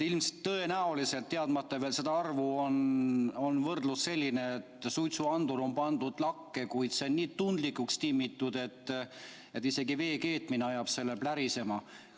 Tõenäoliselt, teadmata seda arvu, on võrdlus selline, et suitsuandur on pandud lakke, kuid see on nii tundlikuks timmitud, et isegi vee keetmine ajab selle plärisema.